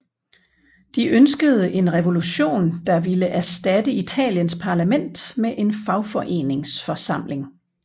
De ønskede en revolution der ville erstatte Italiens parlament med en fagforeningsforsamling